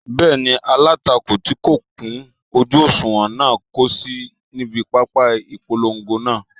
Bẹ́ẹ̀ni, alátakò tí kò kún ojú òṣùwọ̀n náà kò sí níbi pápá ìpolongo náà